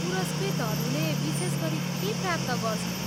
पुरस्कृतहरूले विशेष गरी के प्राप्त गर्छन्?